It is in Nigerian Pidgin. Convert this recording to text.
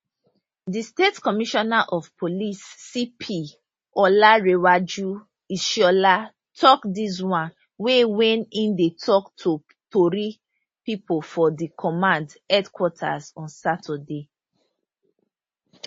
di state commissioner of police cp olarenwaju ishola tok dis one wen wen e dey tok to tori pipo for di command headquarters on saturday